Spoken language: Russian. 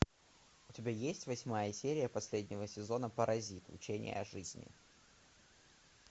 у тебя есть восьмая серия последнего сезона паразит учение о жизни